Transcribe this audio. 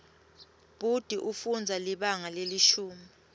bhuti ufundza libanga lelishumi